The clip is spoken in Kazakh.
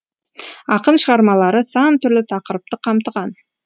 ақын шығармалары сан түрлі тақырыпты қамтыған